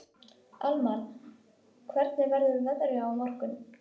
Amal, hvernig verður veðrið á morgun?